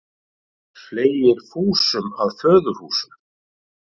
Fleygir fúsum að föðurhúsum.